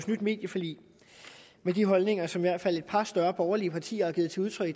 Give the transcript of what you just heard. nyt medieforlig med de holdninger som i hvert fald et par større borgerlige partier har givet udtryk